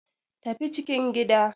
Tafi cikin gida.